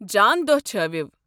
جان دۄہ چھٲوِو !